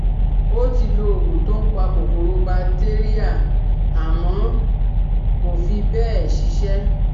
Ó ti lo òògun tó ń pa kòkòro batéríà àmọ́ kò fí bẹ́ẹ̀ ṣiṣẹ́